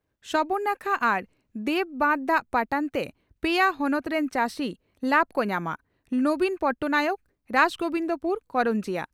ᱥᱚᱵᱚᱨᱱᱟᱠᱷᱟ ᱟᱨ ᱫᱮᱣ ᱵᱟᱸᱫᱽ ᱫᱟᱜ ᱯᱟᱴᱟᱱᱛᱮ ᱯᱮᱭᱟ ᱦᱚᱱᱚᱛ ᱨᱤᱱ ᱪᱟᱹᱥᱤ ᱞᱟᱵᱽ ᱠᱚ ᱧᱟᱢᱟ ᱺ ᱱᱚᱵᱤᱱ ᱯᱚᱴᱱᱟᱭᱮᱠ ᱨᱟᱥᱜᱚᱵᱤᱱᱫᱯᱩᱨ/ᱠᱚᱨᱚᱱᱡᱤᱭᱟᱹ